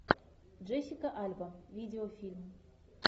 джессика альба видеофильм